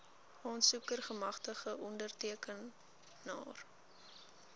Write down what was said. aansoeker gemagtigde ondertekenaar